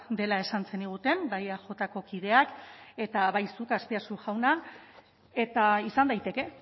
dela esan zeniguten bai eajko kideak eta bai zuk azpiazu jauna eta izan daiteke